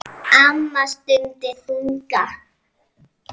Amma stundi þungan.